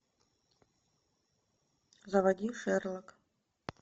заводи шерлок